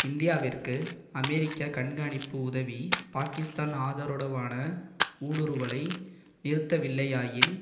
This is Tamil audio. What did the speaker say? இந்தியாவிற்கு அமெரிக்க கண்காணிப்பு உதவி பாகிஸ்தான் ஆதரவுடனான ஊடுருவலை நிறுத்தவில்லையாயின்